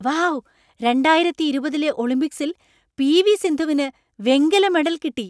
Wow , രണ്ടായിരത്തി ഇരുപതിലെ ഒളിമ്പിക്സിൽ പി.വി. സിന്ധുവിനു വെങ്കല മെഡൽ കിട്ടി .